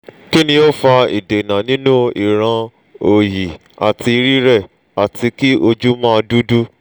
kini o nfa idena ninu iran oyi ati rire ati ki oju ma dudu